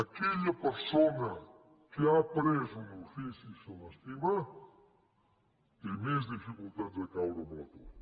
aquella persona que ha après un ofici i se l’estima té més dificultats de caure a l’atur